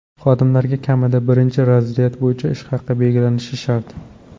Xodimlarga kamida birinchi razryad bo‘yicha ish haqi belgilanishi shart.